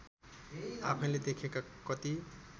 आफैँले देखेका कति